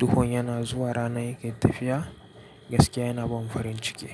duhun yana zuwa ranan yake tafiya, gaskiya yana ban farin ciki.